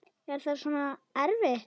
Er það svo erfitt?